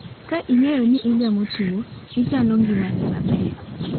Ka ing'eyo ni igamo tuo, ichano ngimani maber.